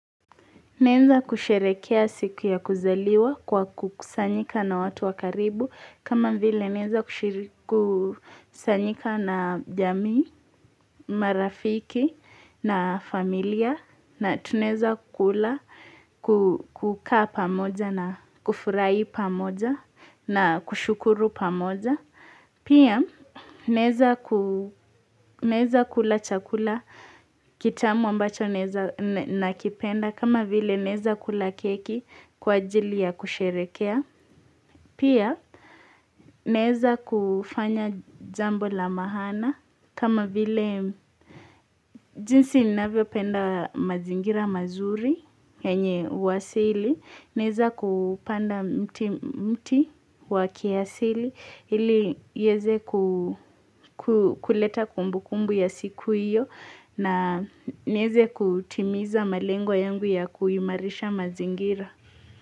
Naeza kusherekea siku ya kuzaliwa kwa kukusanyika na watu wa karibu kama vile naeza kushiri kusanyika na jamii, marafiki na familia na tunaeza kula kukaa pamoja na kufurahi pamoja na kushukuru pamoja. Pia, naeza kula chakula kitamu ambacho naeza nakipenda, kama vile naeza kula keki kwa ajili ya kusherekea. Pia, naeza kufanya jambo la maana, kama vile jinsi ninavyopenda mazingira mazuri, yenye uasili, naeza kupanda mti wa kiasili, ili ieze kuleta kumbukumbu ya siku hiyo, na nieze kutimiza malengo yangu ya kuimarisha mazingira.